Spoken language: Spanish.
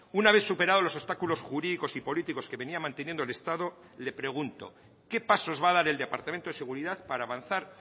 una vez superado los obstáculos jurídicos y políticos que venía manteniendo el estado le pregunto qué pasos va a dar el departamento de seguridad para avanzar